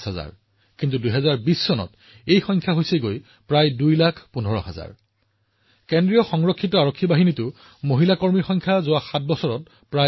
বন্ধুসকল আজি আমি বিমানবন্দৰ মেট্ৰ ষ্টেচনলৈ যাওঁ বা চৰকাৰী কাৰ্যালয়লৈ চাওঁ চিআইএছএফৰ সাহসী মহিলাসকলে প্ৰতিটো সংবেদনশীল স্থানৰ সুৰক্ষাত নিয়োজিত দেখা যায়